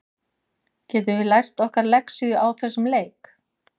Getum við lært okkar lexíu á þessum leik?